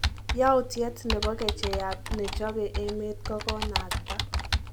Yautiet nebo kechaiyat nechope emet kokonakta